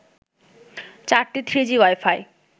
চারটি three G wifi